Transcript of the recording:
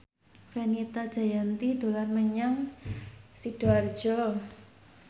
Fenita Jayanti dolan menyang Sidoarjo